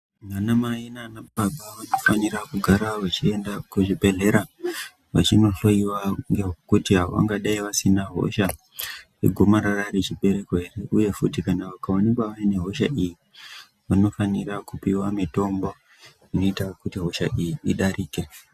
Anamai nanababa vanofanire kugara vechienda kuzvibhedhlera vachinohloyiwa kuti vangadai vasina hosha yegomarara rechibereko here uye futi kana vakaonekwa vaine hosha iyi, vanofanira kupiwa mitombo inoita kuti hosha iyi idarike.